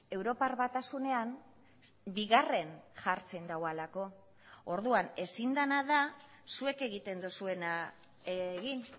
europar batasunean bigarren jartzen duelako orduan ezin dena da zuek egiten duzuena egin